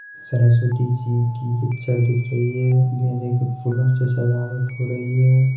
सरस्वती जी की पिक्चर दिख रही है गेंदे के फूलों से सजावट हो रही है।